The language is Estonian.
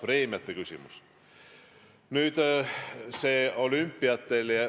Seda võiks vähemalt arutada.